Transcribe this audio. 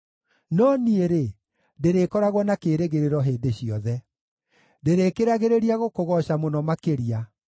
No niĩ-rĩ, ndĩrĩkoragwo na kĩĩrĩgĩrĩro hĩndĩ ciothe; ndĩrĩkĩragĩrĩria gũkũgooca mũno makĩria.